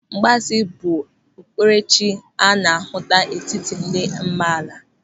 Mgbaasị bụ okpukperechi a na-ahụta n'etiti ndị amaala.